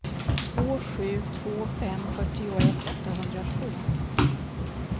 två sju två fem fyrtioett åttahundratvå